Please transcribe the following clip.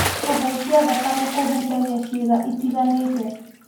kũhaica thakame kũhutagia ciĩga itiganĩte